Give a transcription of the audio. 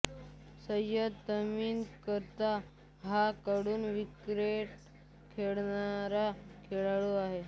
Syed Tamim Qatar हा कडून cricket खेळणारा खेळाडू आहे